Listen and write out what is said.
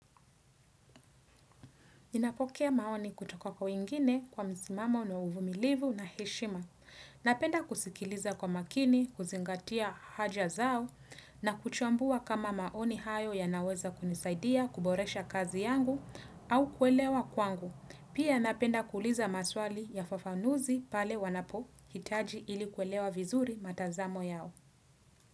Ninapokea maoni kutoka kwa wengine kwa mzimamo na uvumilivu na heshima. Napenda kusikiliza kwa makini, kuzingatia haja zao na kuchambua kama maoni hayo yanaweza kunisaidia kuboresha kazi yangu au kuelewa kwangu. Pia napenda kuuliza maswali yafafanuzi pale wanapohitaji ili kuelewa vizuri matazamo yao.